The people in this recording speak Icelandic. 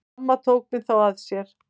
Amma tók mig þá að sér.